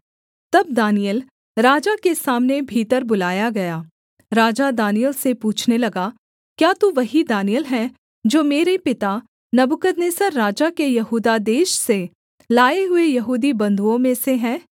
तब दानिय्येल राजा के सामने भीतर बुलाया गया राजा दानिय्येल से पूछने लगा क्या तू वही दानिय्येल है जो मेरे पिता नबूकदनेस्सर राजा के यहूदा देश से लाए हुए यहूदी बंधुओं में से है